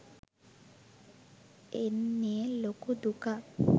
එන්නෙ ලොකු දුකක්